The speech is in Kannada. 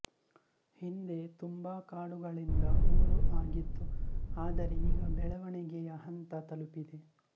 ಹಿಂದೆ ತುಂಬಾ ಕಾಡುಗಳಿಂದ ಊರು ಆಗಿತ್ತು ಆದರೆ ಈಗ ಬೆಳವಣಿಗೆಯ ಹಂತ ತಲುಪಿದೆ